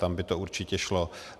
Tam by to určitě šlo.